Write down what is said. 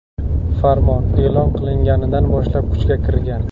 Farmon e’lon qilinganidan boshlab kuchga kirgan.